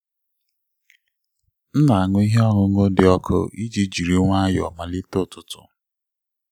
m na-aṅụ ihe ọṅụṅụ dị ọkụ iji jiri nwayọọ malite ụtụtụ.